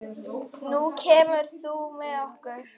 Nú kemurðu með okkur